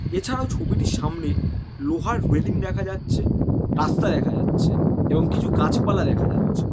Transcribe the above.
এছাড়াও ছবিটির সামনে লোহার ওয়েলিং দেখা যাচ্ছে। রাস্তা দেখা যাচ্ছে এবং গাছপালা দেখা যাচ্ছে।